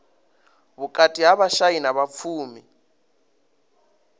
vhukati ha vhashai na vhapfumi